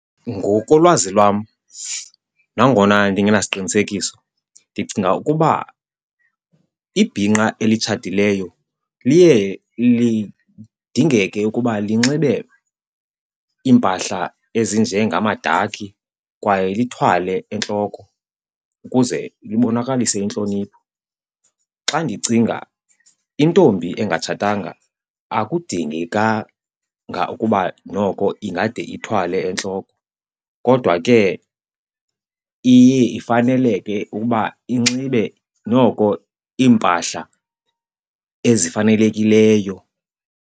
Ngokolwazi lwam nangona ndingenasiqinisekiso, ndicinga ukuba ibhinqa elitshatileyo liye lidingeke ukuba linxibe iimpahla ezinjengamadakhi kwaye lithwale entloko ukuze libonakalise intlonipho. Xa ndicinga intombi engatshatanga akudingekanga ukuba noko ingade ithwale entloko, kodwa ke iye ifaneleke ukuba inxibe noko iimpahla ezifanelekileyo.